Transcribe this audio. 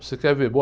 Você quer ver?